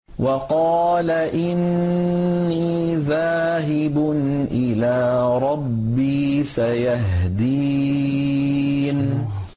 وَقَالَ إِنِّي ذَاهِبٌ إِلَىٰ رَبِّي سَيَهْدِينِ